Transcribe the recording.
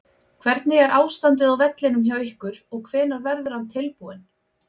Hvernig er ástandið á vellinum hjá ykkur og hvenær verður hann tilbúinn?